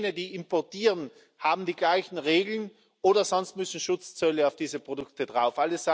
Entweder jene, die importieren, haben die gleichen Regeln, oder sonst müssen Schutzzölle auf diese Produkte drauf.